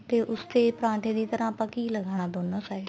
ਤੇ ਉਸ ਤੇ ਪਰਾਂਠੇ ਦੀ ਤਰ੍ਹਾਂ ਆਪਾਂ ਘੀ ਲਗਾਨਾ ਦੋਨਾ side